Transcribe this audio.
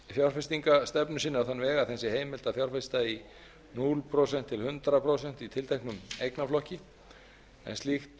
fjárfestingarstefnu sinni á þann veg að þeim sé heimilt að fjárfesta núll prósent til hundrað prósent í tilteknum eignaflokki en slíkt